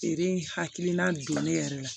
Feere in hakilina don ne yɛrɛ la